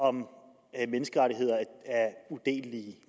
om menneskerettigheder